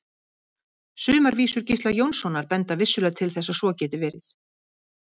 Sumar vísur Gísla Jónssonar benda vissulega til þess að svo geti verið.